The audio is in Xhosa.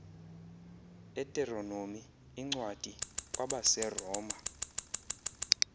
uteronomi incwadi kwabaseroma